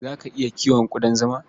Za ka iya kiwon ƙudan zima?